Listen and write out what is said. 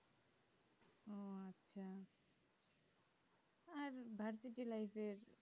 আর ভারকি জেলাইয়েতের